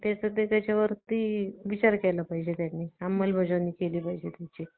mac book मुख्यतः दोन प्रकारामध्ये विभाजन करण्यात आले आहे. पहिले म्हणजे slim laptop आणि दुसरे म्हणजे performance laptop